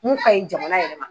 Mun ka ɲi jamana yɛrɛ ma.